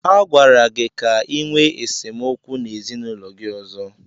Agwara gị ka ịnwe esemokwu n'ezinaụlọ gị ọzọ!